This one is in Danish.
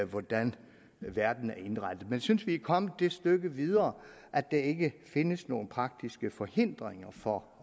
hvordan verden er indrettet men jeg synes vi er kommet det stykke videre at der ikke findes nogen praktiske forhindringer for